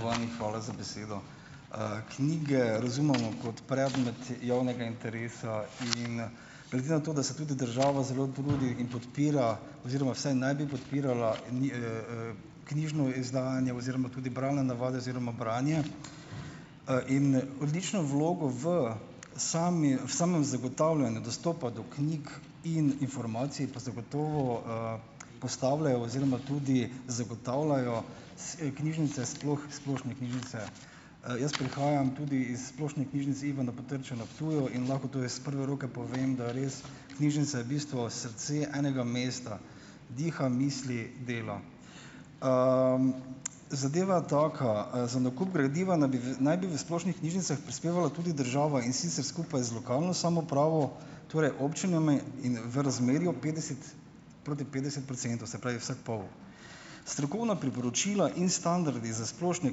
Spoštovani, hvala za besedo. Knjige razumemo kot predmet javnega interesa in glede na to, da se tudi država zelo trudi in podpira oziroma vsaj naj bi podpirala knjižno izdajanje oziroma tudi bralne navade oziroma branje, in odlično vlogo v sami samem zagotavljanju dostopa do knjig in informacij, pa zagotovo, postavljajo oziroma tudi zagotavljajo se knjižnice, sploh splošne knjižnice. Jaz prihajam tudi iz splošne Knjižnice Ivana Potrča na Ptuju in lahko torej s prve roke povem, da res knjižnica je v bistvu srce enega mesta, diha, misli, dela. Zadeva taka. Za nakup gradiva naj bi v naj bi v splošnih knjižnicah prispevala tudi država, in sicer skupaj z lokalno samoupravo, torej občinami in v razmerju petdeset proti petdeset procentov, se pravi, vsak pol. Strokovna priporočila in standardi za splošne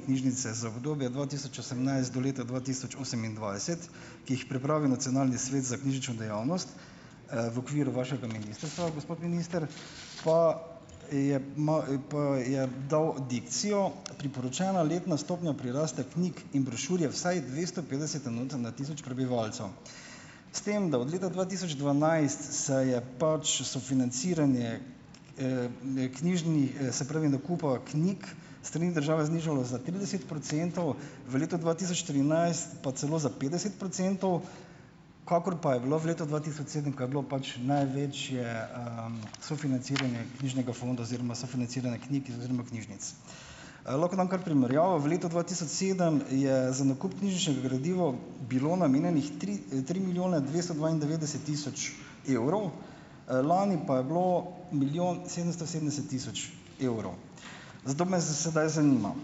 knjižnice za obdobje dva tisoč osemnajst do leta dva tisoč osemindvajset, ki jih pripravi nacionalni svet za knjižnično dejavnost, v okviru vašega ministrstva, gospod minister, pa je pa je dal dikcijo, priporočena letna stopnja prirasta knjig in brošur je vsaj dvesto petdeset enot na tisoč prebivalcev. S tem, da od leta dva tisoč dvanajst se je pač sofinanciranje, se pravi nakupa knjig s strani države, znižalo za trideset procentov, v letu dva tisoč trinajst pa celo za petdeset procentov, kakor pa je bilo v letu dva tisoč sedem, ko je bilo pač največje, sofinanciranje knjižnega fonda oziroma sofinanciranje knjig oziroma knjižnic. Lahko dam primerjavo. V letu dva tisoč sedem je za nakup knjižničnega gradiva bilo namenjenih tri, tri milijone dvesto dvaindevetdeset tisoč evrov, lani pa je bilo milijon sedemsto sedemdeset tisoč evrov. Zato me sedaj zanima.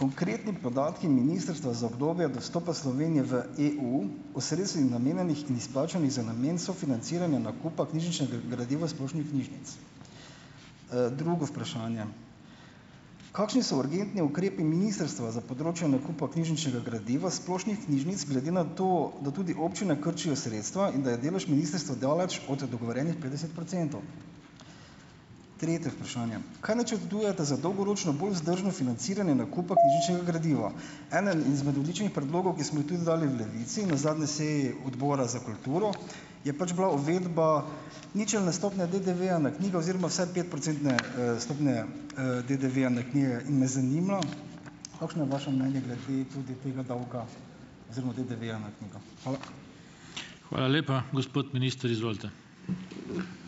Konkretni podatki ministrstva za obdobje od vstopa Slovenije v EU o sredstvih, namenjenih in izplačanih za namen sofinanciranja nakupa knjižničnega gradiva splošnih knjižic. Drugo vprašanje. Kakšni so urgentni ukrepi ministrstva za področje nakupa knjižničnega gradiva splošnih knjižnic glede na to, da tudi občine krčijo sredstva in da je delež ministrstva daleč od dogovorjenih petdeset procentov. Tretje vprašanje. Kaj načrtujete za dolgoročno bolj vzdržno financiranje nakupa knjižničnega gradiva? Eden izmed odličnih predlogov, ki smo jih tukaj dali v Levici na zadnji seji Odbora za kulturo, je pač bila uvedba ničelne stopnje DDV-ja na knjige oziroma vsaj petprocentne, stopnje, DDV-ja na knjige in me zanima, kakšno je vaše mnenje glede tege tega davka oziroma DDV-ja na knjigo. Hvala.